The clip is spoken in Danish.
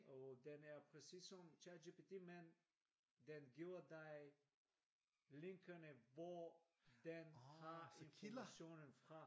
Og den er præcis som ChatGPT men den giver dig linkene hvor den har informationen fra